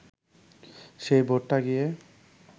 সেই ভোটটা গিয়ে